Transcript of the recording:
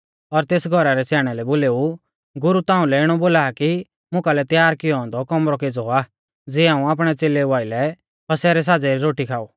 और तेस घौरा रै स्याणै लै बोलेऊ गुरु ताउंलै इणौ बोला कि मुकालै तैयार कियौ औन्दौ कौमरौ केज़ौ आ ज़ियै हाऊं आपणै च़ेलेऊ आइलै फसह रै साज़ै री रोटी खाऊ